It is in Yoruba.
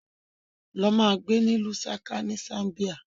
Lọ ma gbé ní Lusaca ni Zambia!